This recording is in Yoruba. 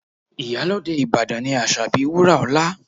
Iyalode Ìbàdàn ni Asabi Wuraola